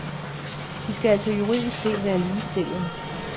De skal altså juridisk set være ligestillet.